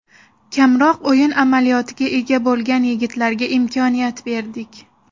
Kamroq o‘yin amaliyotiga ega bo‘lgan yigitlarga imkoniyat berdik.